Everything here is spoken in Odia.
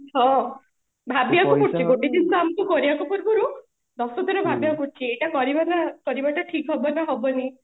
ହଁ ଭାବିବା କୁ ପଡୁଛି ଗୋଟେ ଜିନିଷ ଆମକୁ କରିବାକୁ ପୂର୍ବରୁ ଦଶଥର ଭାବିବା କୁ ପଡୁଛି ପ୍ରକୁତରେ ଭାବିବା କୁ ପଡୁଛି ଏଇଟା କରିବା ନା କରିବା ଟା ଠିକ ହବନା ହବନି